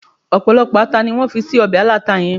ọpọlọpọ ata ni wan fi sí obe alata yen